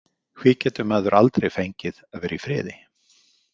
Hví getur maður aldrei fengið að vera í friði?